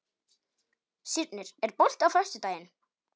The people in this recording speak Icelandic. Sírnir, er bolti á föstudaginn?